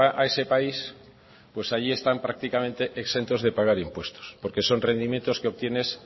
a ese país pues ahí están prácticamente exentos de pagar impuestos porque son rendimientos que obtienes